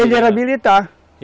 Ele era militar.